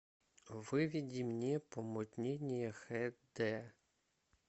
выведи мне помутнение хд